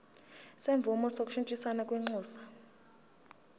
semvume yokushintshisana kwinxusa